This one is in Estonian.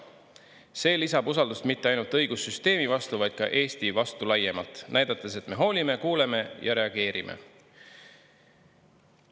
See lisab usaldust mitte ainult õigussüsteemi vastu, vaid ka Eesti vastu laiemalt, näidates, et me hoolime, kuuleme ja reageerime.